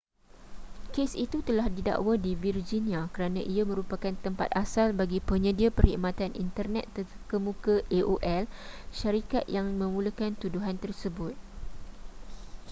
kes itu telah didakwa di virginia kerana ia merupakan tempat asal bagi penyedia perkhidmatan internet terkemuka aol syarikat yang memulakan tuduhan tersebut